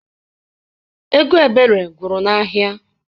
Ego Ebere gwụrụ n'ahịa.